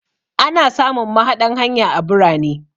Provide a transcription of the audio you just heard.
Ana samun mahaɗan hanya a birane.